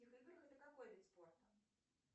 это какой вид спорта